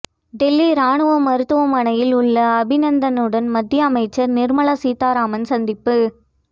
டெல்லி ராணுவ மருத்துவமனையில் உள்ள அபிநந்தனுடன் மத்தியமைச்சர் நிர்மலா சீதாராமன் சந்திப்பு